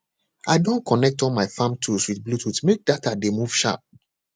i don connect all my farm tools with bluetooth make data dey move sharp